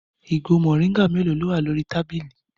Ìgò mòríngà mélòó ni ó wà lórí tábìlì?